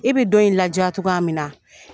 I bɛ don in ladiya cogoya min na